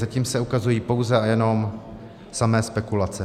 Zatím se ukazují pouze a jenom samé spekulace.